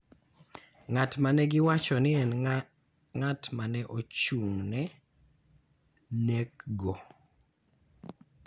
ng�at ma ne giwacho ni en ng�at ma ne ochung�ne nekgo.